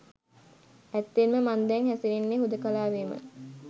ඇත්තෙන්ම මං දැන් හැසිරෙන්නේ හුදෙකලාවේමයි.